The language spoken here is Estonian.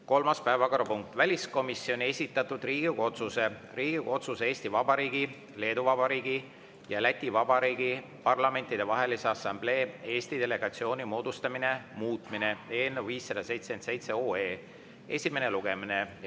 Kolmas päevakorrapunkt: väliskomisjoni esitatud Riigikogu otsuse "Riigikogu otsuse "Eesti Vabariigi, Leedu Vabariigi ja Läti Vabariigi Parlamentidevahelise Assamblee Eesti delegatsiooni moodustamine" muutmine" eelnõu 577 esimene lugemine.